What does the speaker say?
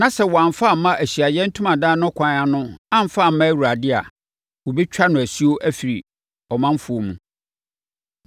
na sɛ wɔamfa amma Ahyiaeɛ Ntomadan no kwan ano amfa amma Awurade a, wɔbɛtwa mo asuo afiri ɔmanfoɔ mu.